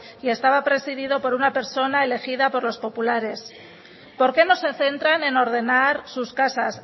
y estaba presidido por una persona elegida por los populares por qué no se centran en ordenar sus casas